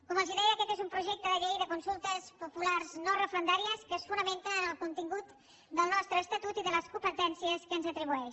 com els deia aquest és un projecte de llei de consultes populars no referendàries que es fonamenta en el contingut del nostre estatut i de les competències que ens atribueix